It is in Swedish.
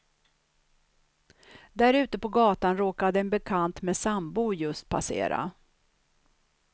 Där ute på gatan råkade en bekant med sambo just passera.